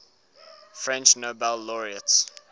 french nobel laureates